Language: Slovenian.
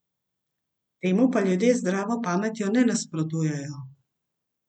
Temu pa ljudje z zdravo pametjo ne nasprotujejo.